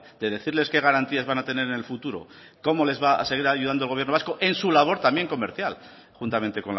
de decirles qué garantías van a tener en el futuro cómo les va seguir ayudando el gobierno vasco en su labor también comercial juntamente